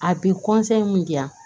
A bɛ mun diyan